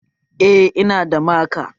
Eh, Ina da maka